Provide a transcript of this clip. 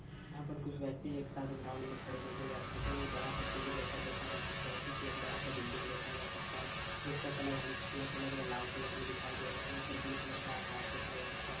यहाँ पर कुछ व्यक्ति एक साथ एक ग्राउंड में खड़े देखे जा सकते है एक बड़ा सा फील्ड जैसा देखा जा सकता है पीछे एक बड़ा सा बिल्डिंग देखा जा सकता है जिसका कलर हम खीरा कलर व लाल कलर में दिखाई दे रहा है ऊपर ब्लू कलर का आकाश दिखाई दे सकता हैं ।